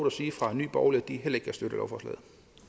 at sige fra nye borgerlige at de heller ikke kan støtte lovforslaget